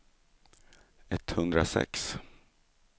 etthundrasex